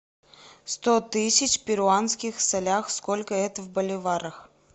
сто тысяч в перуанских солях сколько это в боливарах